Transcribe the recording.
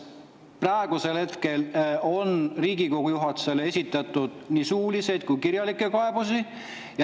Praegusel hetkel on Riigikogu juhatusele esitatud nii suuliseid kui ka kirjalikke kaebusi.